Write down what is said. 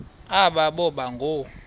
aba boba ngoo